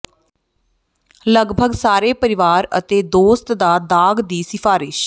ਲਗਭਗ ਸਾਰੇ ਪਰਿਵਾਰ ਅਤੇ ਦੋਸਤ ਦਾ ਦਾਗ ਦੀ ਸਿਫਾਰਸ਼